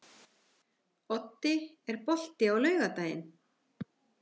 Oddi, er bolti á laugardaginn?